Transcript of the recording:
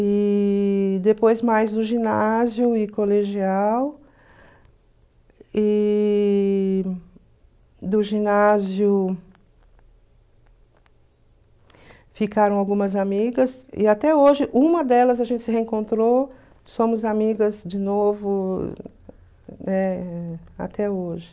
e depois mais no ginásio e colegial e do ginásio ficaram algumas amigas e até hoje uma delas a gente se reencontrou, somos amigas de novo eh até hoje.